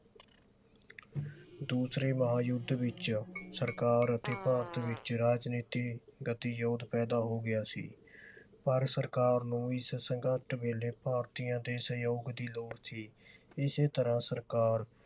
ਦੂਸਰੇ ਮਹਾਯੁੱਧ ਵਿਚ ਸਰਕਾਰ ਅਤੇ ਭਾਰਤ ਵਿਚ ਰਾਜਨੀਤੀ ਗਤੀਰੋਧ ਪੈਦਾ ਹੋ ਗਿਆ ਸੀ ਪਰ ਸਰਕਾਰ ਨੂੰ ਵੀ ਇਸ ਸੰਘਰਸ਼ ਵੇਲੇ ਭਾਰਤੀਆਂ ਦੇ ਸਹਿਯੋਗ ਦੀ ਲੋੜ ਸੀ। ਇਸੇ ਤਰ੍ਹਾਂ ਸਰਕਾਰ